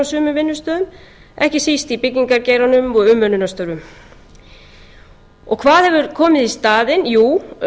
á sumum vinnustöðum ekki síst í byggingargeiranum og umönnunarstörfum hvað hefur komið í staðinn jú